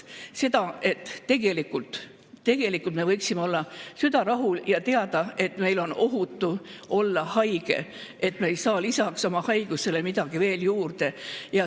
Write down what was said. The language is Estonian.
Me tahame seda, et meil võiks olla süda rahul ja me võiksime teada, et on ohutu olla haige ja me ei saa lisaks oma haigusele midagi veel juurde.